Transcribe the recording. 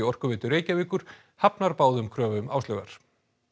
Orkuveitu Reykjavíkur hafnar báðum kröfum Áslaugar